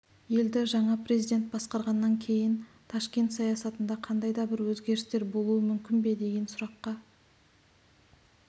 елді жаңа президент басқарғаннан кейін ташкент саясатында қандай да бір өзгерістер болуы мүмкін бе деген сұраққа